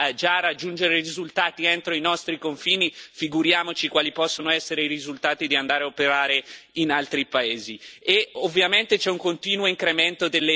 La mia domanda è se facciamo così fatica già a raggiungere risultati entro i nostri confini, figuriamoci quali possono essere i risultati andando a operare in altri paesi.